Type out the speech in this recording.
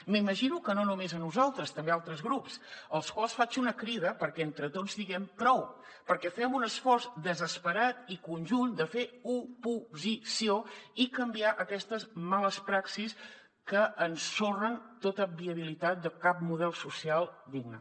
m’imagino que no només a nosaltres també a altres grups als quals faig una crida perquè entre tots diguem prou perquè fem un esforç desesperat i conjunt de fer oposició i canviar aquestes males praxis que ensorren tota viabilitat de cap model social digne